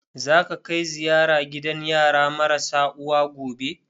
Za ka kai ziyara gidan yara marasa uwa gobe?